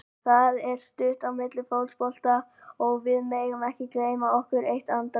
Það er stutt á milli í fótbolta og við megum ekki gleyma okkur eitt andartak.